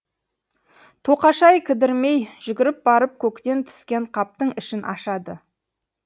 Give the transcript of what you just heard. тоқашай кідірмей жүгіріп барып көктен түскен қаптың ішін ашады